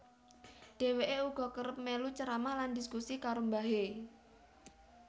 Dheweke uga kerep melu ceramah lan dhiskusi karo mbahe